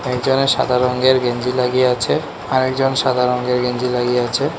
একজনে সাদা রঙ্গের গেঞ্জি লাগিয়ে আছে আরেকজন সাদা রঙ্গের গেঞ্জি লাগিয়ে আছে।